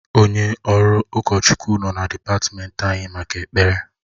Onye ọrụ ụkọchukwu nọ na dịpatmenti anyị maka ekpere